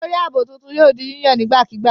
Olórí ààbò tuntun yóò di yíyàn nígbàkigbà.